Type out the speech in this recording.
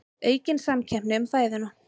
Aukin samkeppni um fæðuna